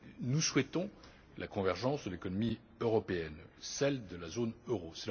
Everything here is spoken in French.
Nous souhaitons la convergence de l'économie européenne, celle de la zone euro.